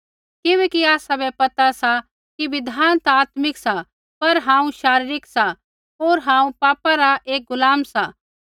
किबैकि आसाबै पता सा कि बिधान ता आत्मिक सा पर हांऊँ शारीरिक सा होर हांऊँ पापा रा एक गुलाम सा